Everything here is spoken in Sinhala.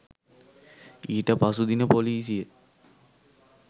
ඊට පසු දින පොලිසිය